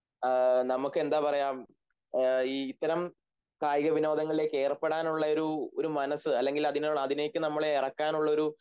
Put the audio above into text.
നമുക്ക് എന്താ പറയാം ഇത്തരം കായികവിനോദങ്ങളിലേക്ക് ഏർപ്പെടാനുള്ളൊരു ഒരു മനസ്സ് അല്ലങ്കിൽ അതിലേക്ക് നമ്മളെ എറക്കാനുള്ളൊരു